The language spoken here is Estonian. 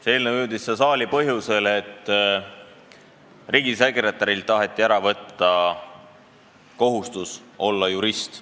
See eelnõu jõudis siia saali põhjusel, et taheti ära kaotada nõuet, et riigisekretär peab olema jurist.